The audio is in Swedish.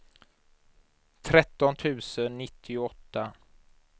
tretton tusen nittioåtta